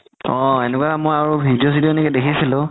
অ এনেকুৱা মই আৰু video চি দিও দেখিছিলো